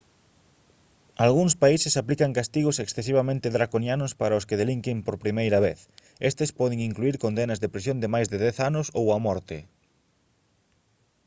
algúns países aplican castigos excesivamente draconianos para os que delinquen por primeira vez estes poden incluír condenas de prisión de máis de 10 anos ou a morte